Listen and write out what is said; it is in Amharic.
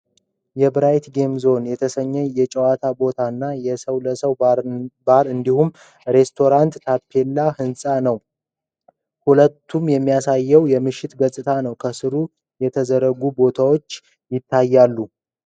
የብራይት ጌም ዞን የተሰኘ የጨዋታ ቦታ እና ሰዉ ለሰዉ ባር እንዲሁም ሬስቶራንት ታፕላያለበትን ህንጻ ነው። ሁለቱንም የሚያሳይ የምሽት ገጽታ ነው። ከስሩ የተዘጉ ቦታዎች ይታያሉ፡፡